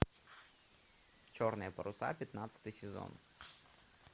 черные паруса пятнадцатый сезон